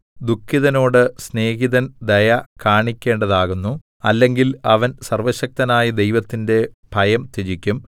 ദുഃഖിതനോട് സ്നേഹിതൻ ദയ കാണിക്കേണ്ടതാകുന്നു അല്ലെങ്കിൽ അവൻ സർവ്വശക്തനായ ദൈവത്തിന്റെ ഭയം ത്യജിക്കും